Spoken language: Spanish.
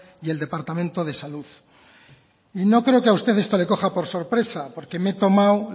y el departamento de salud y no creo que a usted esto le coja por sorpresa porque me he tomado